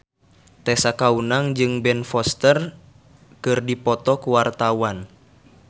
Tessa Kaunang jeung Ben Foster keur dipoto ku wartawan